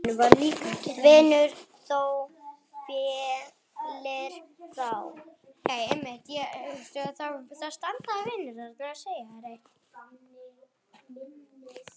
Vinur þó féllir frá.